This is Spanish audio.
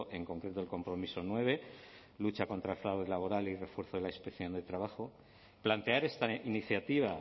en concreto el compromiso nueve lucha contra el fraude laboral y refuerzo de la inspección de trabajo plantear esta iniciativa